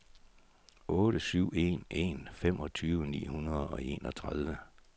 otte syv en en femogtyve ni hundrede og enogtredive